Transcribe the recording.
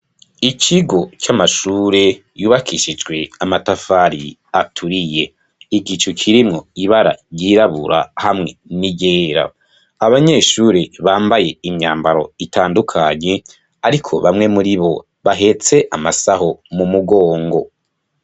Ikigo camashure yubakishijwe amatafari aturiye, igicu kirimwo ibara ryirabura hamwe n'iryera abanyeshure Bambaye imyambaro itandukanye ariko bamwe muribo bahetse amasaho mumugongo.